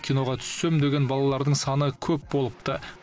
киноға түссем деген балалардың саны көп болыпты